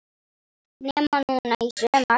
Nema núna í sumar.